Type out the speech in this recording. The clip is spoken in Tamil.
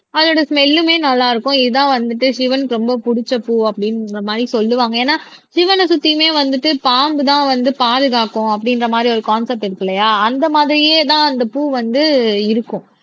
அதோட ஸ்மெல்லுமே நல்லா இருக்கும் இதுதான் வந்துட்டு சிவனுக்கு ரொம்ப புடிச்ச பூ அப்படின்ற மாதிரி சொல்லுவாங்க ஏன்னா சிவனை சுத்தியுமே வந்துட்டு பாம்புதான் வந்து பாதுகாக்கும் அப்படின்ற மாதிரி ஒரு கான்செப்ட் இருக்கு இல்லையா அந்த மாதிரியேதான் அந்த பூ வந்து இருக்கும்